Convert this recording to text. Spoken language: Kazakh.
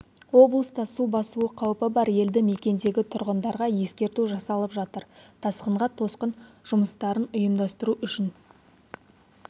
облыста су басуы қаупі бар елді мекендегі тұрғындарға ескерту жасалып жатыр тасқынға тосқын жұмыстарын ұйымдасытру үшін